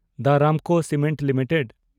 the Ramco cement limited